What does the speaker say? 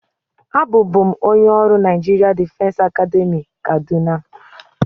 Abụ bụ m onye ọrụ Naịjirịa Difesi Academị Kaduna.